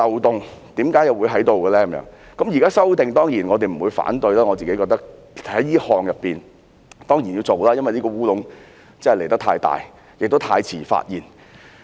當然，現時作出修訂，我們不會反對，我認為這一項修訂當然要執行，因為這個"烏龍"實在太大，也太遲被發現。